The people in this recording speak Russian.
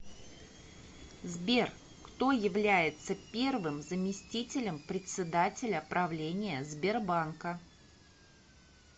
сбер кто является первым заместителем председателя правления сбербанка